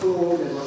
Pulu olmayıb.